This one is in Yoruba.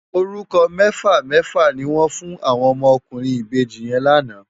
Órúkò mèfá mèfá ni wòn fún áwòn òmò òkúrin ibéji yèn làná